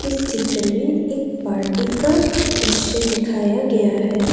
इस चित्र में एक पार्टी का दृश्य दिखाया गया है।